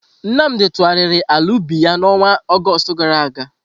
Nnamdi tụgharịrị ala ubi ya n'ọnwa Ọgọst gara aga.